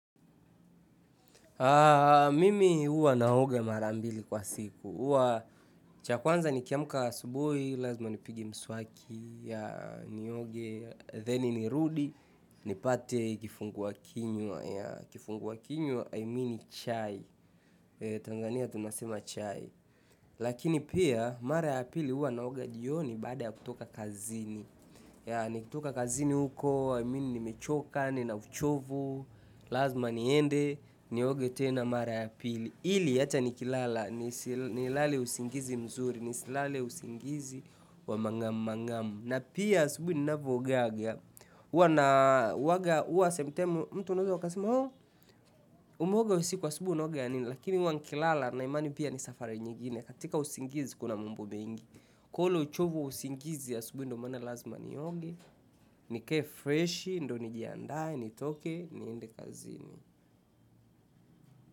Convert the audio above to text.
Mimi huwa naoga mara mbili kwa siku. Cha kwanza nikiamka asubuhi, lazima nipige mswaki, nioge, the nirudi, nipate kifungua kinywa. Kifungua kinywa i mean chai Tanzania tunasema chai. Lakini pia, mara ya apili huwa naoga jioni baada ya kutoka kazini. Ya nikitoka kazini huko, amini nimechoka, nina uchovu, lazima niende, nioge tena mara ya pili. Hili hata nikilala, nilale usingizi mzuri, nisilale usingizi wa mangamu mangamu. Na pia asubuhi ninavyoogaga, huwa na huwaga, huwa sometime, mtu anaeza akasema ooh, umeoga usiku asubuhi unaoga ya nini, lakini huwa nikilala nina imani pia ni safari nyingine, katika usingizi kuna mambo mengi. Kwa ule uchovu wa usingizi asubuhi ndio mana lazima nioge, nikae freshi, ndio nijiandae, nitoke, niende kazini.